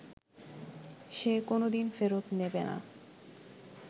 সে কোনোদিন ফেরত নেবে না